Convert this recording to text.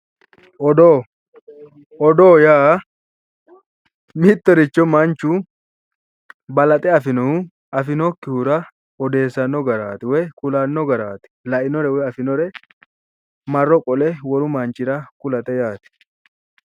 Odoo, odoo yaa mittoricho manchu balaxe afinohu afinokkihura odeessanno garaati woyi kulanno garaati. lainore woyi afinore marro qole wolu mannira kulate yaate.